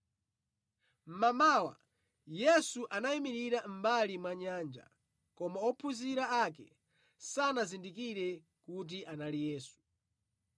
Mmamawa, Yesu anayimirira mʼmbali mwa nyanja, koma ophunzira ake sanazindikire kuti anali Yesu.